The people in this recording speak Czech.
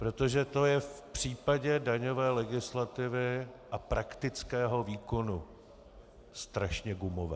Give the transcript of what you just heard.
Protože to je v případě daňové legislativy a praktického výkonu strašně gumové.